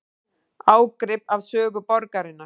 Ágrip af sögu borgarinnar